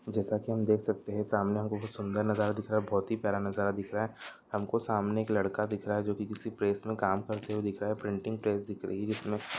जेकरा की हम देख सकते है सामने हुमको सुन्दर नजरा दिख रहा ही बहुतही नजर दिखा रहा हे हम को सामने एक लड़का दीक्रहा हेजो बी प्रेस में काम करते दिक् रहा हे प्रिंटिंग प्रेस दिक् रहा हे --